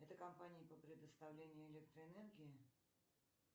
это компания по предоставлению электроэнергии